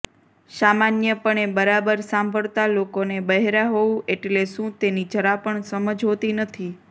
સામાન્યપણે બરાબર સાંભળતાં લોકોને બહેરાં હોવું એટલે શું તેની જરા પણ સમજ હોતી નથી